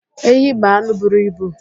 Ehi bụ anụ buru ibu.